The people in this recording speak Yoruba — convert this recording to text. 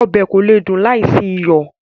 Ọbẹ̀ kò lè dùn láì sí iyọ̀